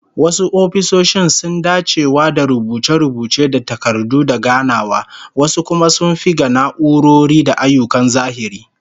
Wasu ofisoshin sun dacewa da rubuce-rubuce da takardu da ganawa, wasu kuma sun fi ga na'urori da ayyukan zahiri